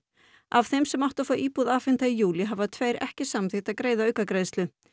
af þeim sem áttu að fá íbúð afhenta í júlí hafa tveir ekki samþykkt að greiða aukagreiðslu